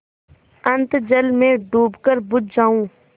अनंत जल में डूबकर बुझ जाऊँ